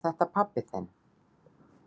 Er þetta pabbi þinn?